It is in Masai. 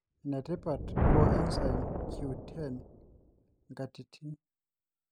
enetipat coenzyme Q10 te nkatitin